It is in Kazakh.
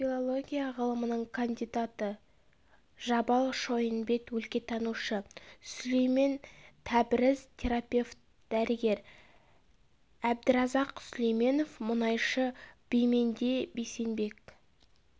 филология ғылымының кандидаты жабал шойынбет өлкетанушы сүлеймен тәбріз терапевт дәрігер әбдіразақ сүлейменов мұнайшы бименде бейсенбек